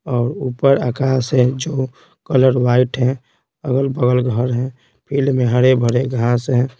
और ऊपर आकाश है जो कलर वाइट है अगल-बगल घर है फील्ड में हरे भरे घास है।